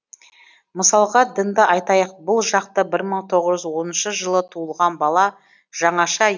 мысалға дінді айтайық бұл жақта бір мың тоғыз жүз оныншы жылы туылған бала жаңаша